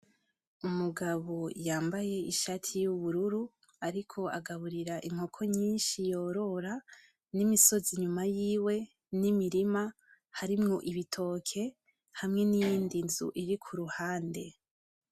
Umugabo yambaye ishati y’ubururu ariko aragaburira inkoko nyishi yorora n’imisozi inyuma yiwe ,n’imirima harimwo ibitoke hamwe n’iyindi nzu iri kuruhande.